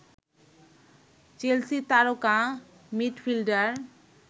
Chelsea তারকা midfielder